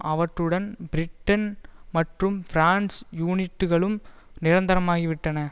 அவற்றுடன் பிரிட்டன் மற்றும் பிரான்ஸ் யூனிட்டுகளும் நிரந்தரமாகிவிட்டன